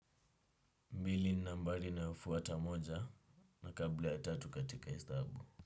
Mbili ni nambari inayofuata moja na kabla ya tatu katika hesabu.